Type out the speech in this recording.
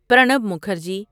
Pranab Mukherjee